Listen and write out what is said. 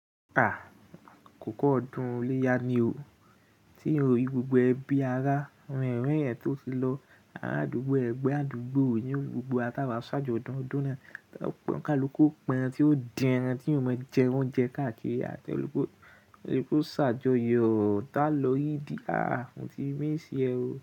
A! Àkókọ ọdún iléyá ni o. Tí ó rí gbogbo ẹbí ará, àwọn ọ̀rẹ́ èèyàn tó ti lọ, ara àdúgbò ẹ̀gbọ́n àdúgbò ni gbogbo a tawa ṣaajọdun ọdún náà. Pọn kaluku pa ẹran tí ó dín ẹran tí èèyàn ọmọ jẹ oúnjẹ káàkiri, tí kaluku o ṣaajọyọ ta lo idi. A! Mo ti miss ẹ o.